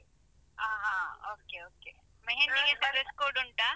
ಹ ಹ okay okay , mehndi ಗೆ ಎಂತ dress code ಉಂಟಾ?